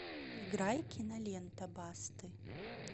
играй кинолента басты